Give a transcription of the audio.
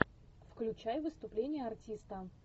включай выступление артиста